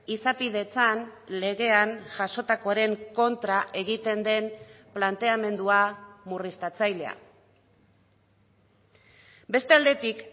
izapidetzan legean jasotakoaren kontra egiten den planteamendua murriztatzailea beste aldetik